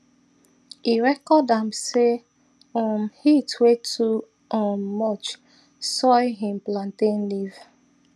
e record am say um heat way too um much soil him plantain leave